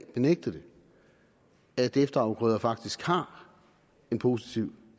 benægte det at efterafgrøder faktisk har en positiv